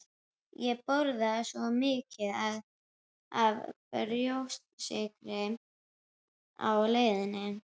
Ég borðaði svo mikið af brjóstsykri á leiðinni